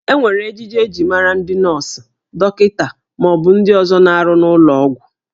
E nwere ejiji eji mara ndị nọọsụ, dọkịta, ma ọ bụ ndị ọzọ na-arụ n'ụlọ ọgwụ